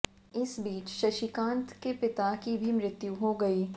इस बीच शशिकांत के पिता की भी मृत्यु हो गई